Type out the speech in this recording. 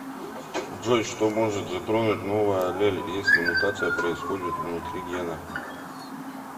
джой что может затронуть новая аллель если мутация происходит внутри гена